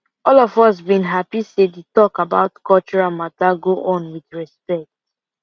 all of us been happy say the talk about cultural matter go on with respect